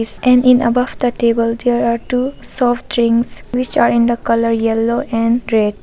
Is an above the table there are two soft drinks which are in the colour yellow and red.